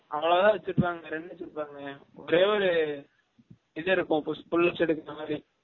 அவலோ தான் வச்சு இருபாங்க வேர என்ன வச்சு இருப்பாங்க ஒரே ஒரு இது இருக்கும் push pull ups எடுக்க்ர மாரி rod